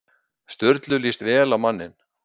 Sturlu líst vel á manninn.